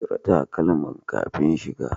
Cire takalmankan kafin shiga.